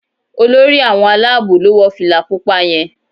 Olórí àwọn Àlàabò lọ wọ fìlà pupa yén